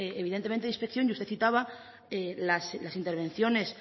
evidentemente de inspección y usted citaba las intervenciones